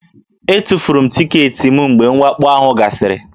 Etufuru m tiketi m mgbe mwakpo ahụ gasịrị